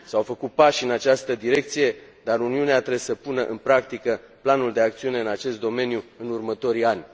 S au făcut pași în această direcție, dar Uniunea trebuie să pună în practică planul de acțiune în acest domeniu în următorii ani.